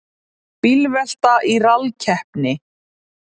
Bílvelta í rallkeppni